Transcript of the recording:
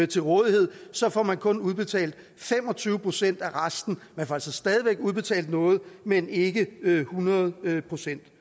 til rådighed så får man kun udbetalt fem og tyve procent af resten man får altså stadig væk udbetalt noget men ikke hundrede procent det